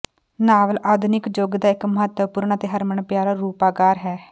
novel ਆਧੁਨਿਕ ਯੁੱਗ ਦਾ ਇੱਕ ਮਹੱਤਵਪੂਰਨ ਅਤੇ ਹਰਮਨ ਪਿਆਰਾ ਰੂਪਾਕਾਰ ਹੈ